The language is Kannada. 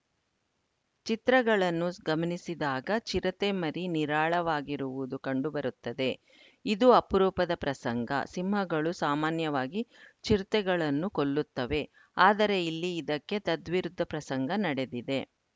ಚಿತ್ರಗಳನ್ನು ಗಮನಿಸಿದಾಗ ಚಿರತೆ ಮರಿ ನಿರಾಳವಾಗಿರುವುದು ಕಂಡುಬರುತ್ತದೆ ಇದು ಅಪರೂಪದ ಪ್ರಸಂಗ ಸಿಂಹಗಳು ಸಾಮಾನ್ಯವಾಗಿ ಚಿರತೆಗಳನ್ನು ಕೊಲ್ಲುತ್ತವೆ ಆದರೆ ಇಲ್ಲಿ ಇದಕ್ಕೆ ತದ್ವಿರುದ್ಧ ಪ್ರಸಂಗ ನಡೆದಿದೆ